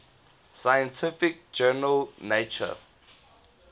scientific journal nature